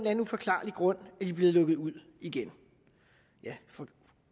anden uforklarlig grund er de blevet lukket ud igen ja